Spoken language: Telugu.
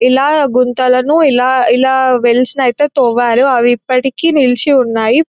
ఇలా గుంతలను ఇలా ఇలా వెల్స్ ని తోమారు అవి ఇప్పటికి నిల్చి ఉన్నాయి.